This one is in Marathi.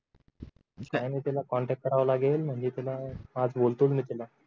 काही नाही त्याला कॉन्टॅक्ट करावा लागेल म्हणजे त्याला आज बोलतो मी त्याला